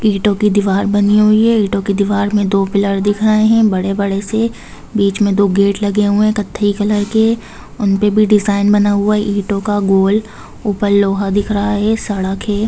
ईटों की दीवार बनी हुई है ईटों की दीवार में दो पिलर दिख रहे है बड़े-बड़े से बीच में दो गेट लगे हुए है कत्थई कलर के उन पे भी डिजाइन बना हुआ है ईटों का गोल ऊपर लोहा दिख रहा है सड़क है।